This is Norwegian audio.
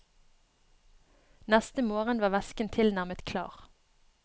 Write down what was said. Neste morgen var væsken tilnærmet klar.